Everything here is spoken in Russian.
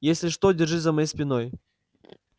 если что держись за моей спиной